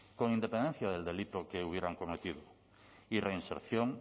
con independencia del delito que hubieran cometido y reinserción